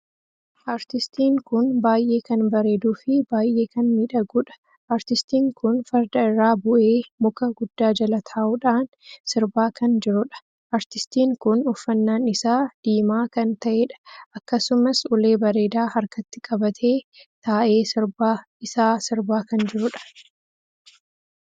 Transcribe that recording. Aartistiin kun baay'ee kan bareeduu fi baay'ee kan miidhaguudha. aartistiin kun fardaa irraa buhee muka guddaa jala taa'uudhaan sirbaa kan jirudha. aartistiin kun uffannaan isaa diimaa kan taheedha. akkasumas ulee bareedaa harkatti qabatee taa'ee sirba isaa sirbaa kan jiruudha.